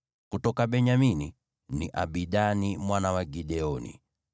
kutoka Benyamini, ni Abidani mwana wa Gideoni;